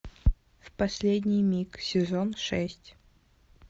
в последний миг сезон шесть